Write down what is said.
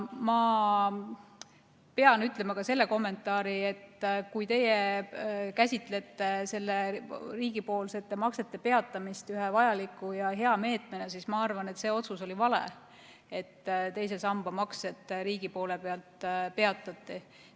Ma pean ütlema ka selle kommentaari, et teie käsitlete riigipoolsete maksete peatamist ühe vajaliku ja hea meetmena, aga mina arvan, et see otsus oli vale, et riigipoolsed maksed teise sambasse peatati.